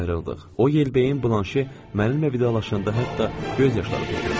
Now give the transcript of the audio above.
O Yelbeyin Blanşe mənimlə vidalaşanda hətta göz yaşları tökürdü.